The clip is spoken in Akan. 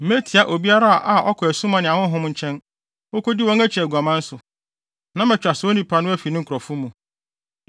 “ ‘Metia obiara a ɔkɔ asuman ne ahonhom nkyɛn okodi wɔn akyi aguaman so, na matwa saa onipa no afi ne nkurɔfo mu.